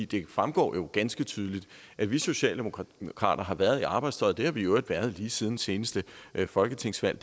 det fremgår jo ganske tydeligt at vi socialdemokrater har har været i arbejdstøjet det har vi i øvrigt været lige siden seneste folketingsvalg